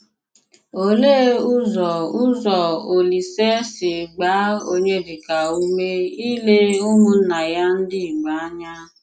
Òlee ụzọ ụzọ Òlísè si gbaa Onyedika ume ílé ụmụnná ya ndị Ìgbò ànya?